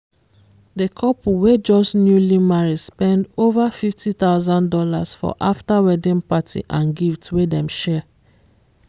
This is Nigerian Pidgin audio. the couple wey just newly marry spend over fifty thousand dollars for after wedding party and gifts wey dem share.